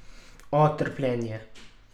O, trpljenje.